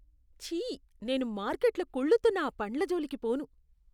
ఛీ! నేను మార్కెట్లో కుళ్ళుతున్న ఆ పండ్ల జోలికి పోను.